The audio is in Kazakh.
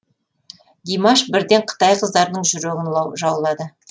димаш бірден қытай қыздарының жүрегін жаулады